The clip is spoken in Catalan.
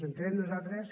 entenem nosaltres